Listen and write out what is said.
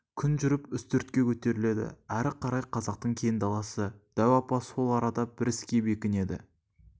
күн жүріп үстіртке көтеріледі әрі қарай қазақтың кең даласы дәу апа сол арада бір іске бекінеді